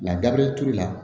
turu la